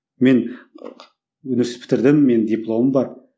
мен университет бітірдім менің дипломым бар